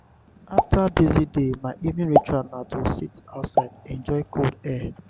after busy day my evening ritual na to sit outside enjoy cool air.